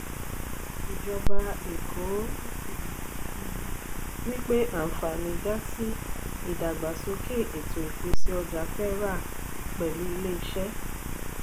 ìjọba èkó wípé anfààní dasi ìdàgbàsókè ètò ìpèsè ọjà fẹ́ ra pẹlú ilé iṣé.